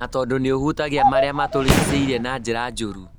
na tondũ nĩhutagia maria matũrigicĩirie na njĩra njũru